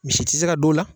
Misi tɛ se ka don o la